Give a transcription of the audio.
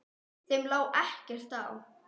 Þeim lá ekkert á.